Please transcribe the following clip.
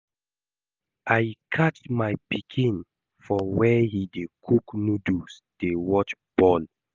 I catch my pikin for where he dey cook noodles dey watch ball